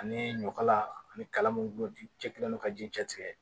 Ani ɲɔkala ani kala mun cɛlen don ka ji cɛtigɛ